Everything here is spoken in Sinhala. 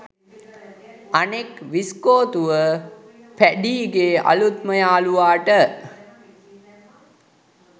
අනෙක් විස්කෝතුව පැඞීගෙ අලුත්ම යාළුවාට